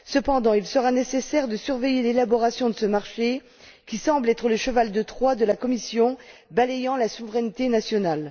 Cependant, il sera nécessaire de surveiller l'élaboration de ce marché qui semble être le cheval de Troie de la Commission balayant la souveraineté nationale.